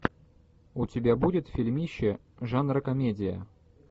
у тебя будет фильмище жанра комедия